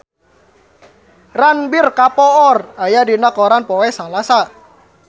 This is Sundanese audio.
Ranbir Kapoor aya dina koran poe Salasa